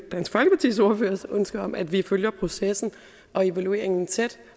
ønske om at vi følger processen og evalueringen tæt